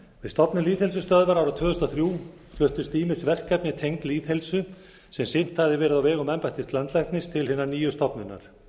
stofnun lýðheilsustöðvar árið tvö þúsund og þrjú fluttust ýmis verkefni tengd lýðheilsu sem sinnt hafði verið á vegum embættis landlækni til hinnar nýju stofnunar